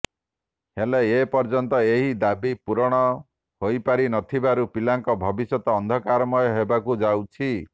ହେଲେ ଏପର୍ଯ୍ୟନ୍ତ ଏହି ଦାବି ପୂରଣ ହୋଇପାରି ନ ଥିବାରୁ ପିଲାଙ୍କ ଭବିଷ୍ୟତ ଅନ୍ଧକାରମୟ ହେବାକୁ ଯାଉଛି